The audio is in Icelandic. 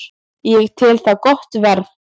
Ég tel það gott verð